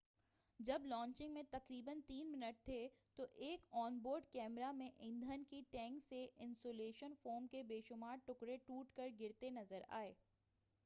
جب لانچنگ میں تقریبا 3 منٹ تھے تو ایک آن-بورڈ کیمرہ میں ایندھن کے ٹینک سے انسیولیشن فوم کے بے شمار ٹکڑے ٹوٹ کر گرتے نظر آئے